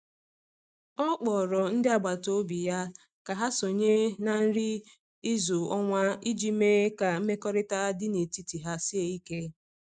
O kpọrọ ndị agbata obi ya ka ha sonye na nri izu ọnwa iji mee ka mmekọrịta dị n’etiti ha sie ike.